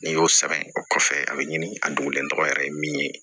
N'i y'o sɛbɛn o kɔfɛ a bɛ ɲini a dogolen tɔgɔ yɛrɛ ye min ye